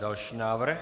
Další návrh.